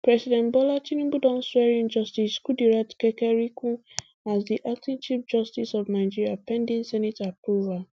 president bola tinubu don swear in justice kudirat kekereekun as di acting chief justice of nigeria pending senate approval